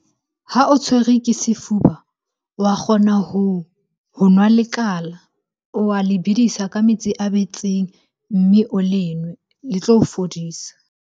Ha o tshwerwe ke sefuba, wa kgona ho nwa leqala. O wa le bedisa ka metsi a betseng, mme o le nwe. Le tlo o fodisa.